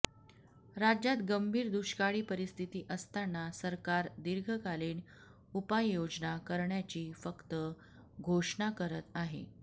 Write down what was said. राज्यात गंभीर दुष्काळी परिस्थिती असताना सरकार दीर्घकालीन उपाययोजना करण्याची फक्त घोषणा करत आहे